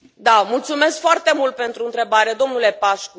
Mulțumesc foarte mult pentru întrebare, domnule Pașcu.